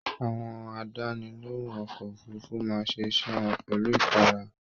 Àwọn àdánilohùn ọkọ òfurùnfu máa ṣe iṣẹ wọn pẹlu ikara